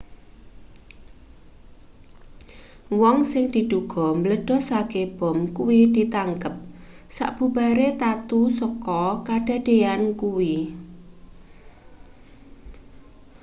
wong sing diduga mbledhoske bom kuwi ditangkep sabubare tatu saka kadadeyan kuwi